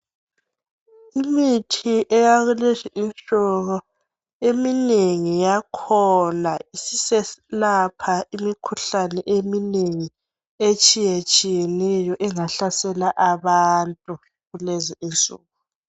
Imithi eyalezinsuku , eminengi yakhona isiselapha imikhuhlane eminengi etshiyetshiyeneyo engahlasela abantu kulezinsuku.